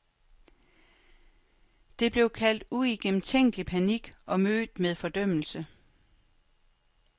Det blev kaldt uigennemtænkt panik og mødt med fordømmelse.